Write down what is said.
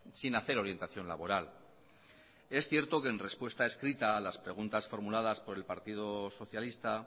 sin hacer orientación laboral es cierto que en respuesta escrita a las preguntas formuladas por el partido socialista